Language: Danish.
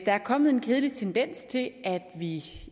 der er kommet en kedelig tendens til at vi